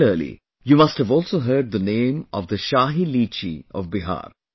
Similarly, you must have also heard the name of the Shahi Litchi of Bihar